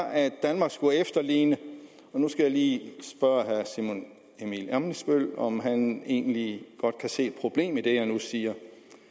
at danmark skulle efterligne og nu skal jeg lige spørge herre simon emil ammitzbøll om han egentlig godt kan se problemet i det jeg nu siger